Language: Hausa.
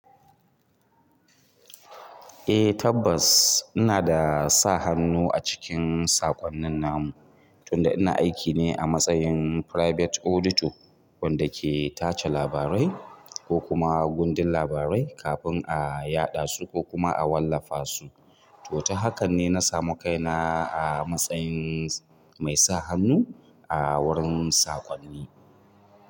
Eh tabbas ina da sa hannu a cikin saƙonnin namu tunda ina aiki ne a matsayin private auditor wanda ke tace labarai ko kuma gundun labarai kafin a yaɗa su ko kuma a wallafa su to ta hakan ne na samu kaina a matsayin mai sa hannu a wurin saƙonni.